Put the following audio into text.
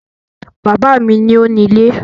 Bàbá mi ni ó ni ilé